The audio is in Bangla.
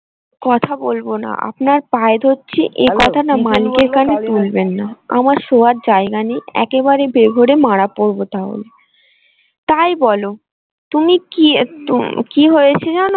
কথা বলবো না আপনার পায়ে ধরছি এই কথাটা মালিকের কানে তুলবেন না আমার শোয়ার জায়গা নেই একেবারে বেঘরে মারা পড়ব তাহলে তাই বলো তুমি কি কি হয়েছে জানো।